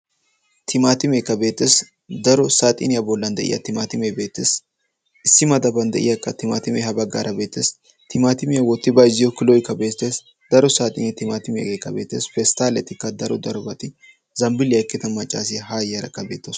Timaatimeekka beettees. Daro saaxiiniyaa bollan de'iya timaatimee beettees. Issi madaban de'iyaakka timaatimee ha baggaara beettees. Timaatimiyaa wootti bayzziyo kiloykka beettees. Daro saaxiinee timaatime de'iyageekka beettees. Pesttaletikka daro darobati zambbiiliya oyqqida maccaasiyaa haa yiyarakka beettawusu.